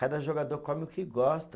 Cada jogador come o que gosta.